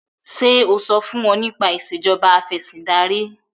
ṣe o so fún wón nípa Ìṣèjọba Afẹ̀sìndarí?